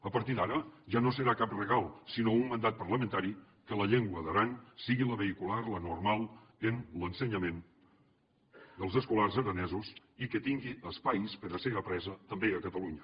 a partir d’ara ja no serà cap regal sinó un mandat parlamentari que la llengua d’aran sigui la vehicular la normal en l’ensenyament dels escolars aranesos i que tingui espais per a ser apresa també a catalunya